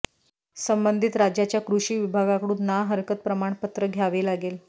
संबंधित राज्याच्या कृषी विभागाकडून ना हरकत प्रमाणपत्र घ्यावे लागेल